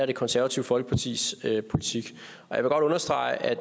det konservative folkepartis politik jeg vil godt understrege at